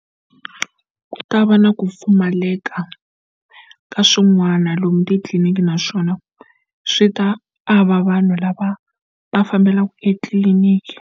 Ku ta va na ku pfumaleka ka swin'wana lomu titliliniki naswona swi ta ava vanhu lava va fambelaka etliliniki.